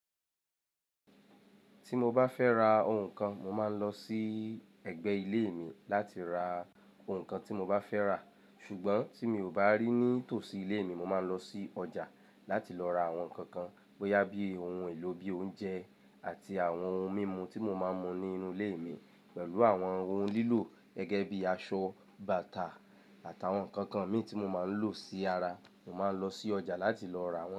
Tí mo bá fẹ ra òhun kàn, mo máà n lo sí ẹgbẹ̀ ilé mí láti ra òhun kàn tí mo bá fẹ ra, sùgbọn ti mí o bá rí ni tosí ilé mí, mo máa n lọ sí ọjà láti lọ ra awọn nkan kàn bóyá bi ohùn è lo bí oúnjẹ àti àwọn ohùn mímú tí mo máa mú nínú ilé mí pẹlu awọn ohùn lilo gẹgẹ bi aṣọ, bàtà ati awọn nkán kàn mí ti mó máa n lo si ará, mo máa n lọ sí ọjà lati lọ ra wọn.